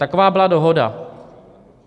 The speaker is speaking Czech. Taková byla dohoda.